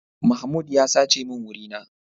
Mahmoud ya sace min wuri na.